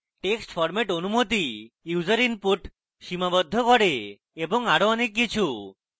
text format অনুমতি user input সীমাবদ্ধ করে এবং আরো অনেক কিছু